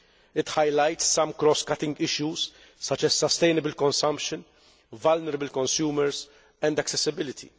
It highlights some cross cutting issues such as sustainable consumption, vulnerable consumers and accessibility.